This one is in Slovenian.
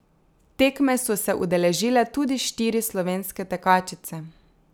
Tekme so se udeležile tudi štiri slovenske tekačice.